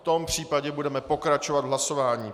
V tom případě budeme pokračovat v hlasování.